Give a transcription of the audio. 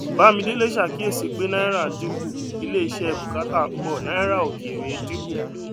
bámidélé ṣàkíyèsí pé náírà dínkù ilé iṣẹ bùkátà pọ dúkìá òkèèrè dínkù